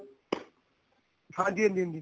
ਹਾਂਜੀ ਹਾਂਜੀ ਹਾਂਜੀ